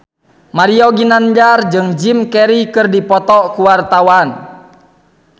Mario Ginanjar jeung Jim Carey keur dipoto ku wartawan